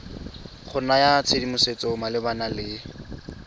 go naya tshedimosetso malebana le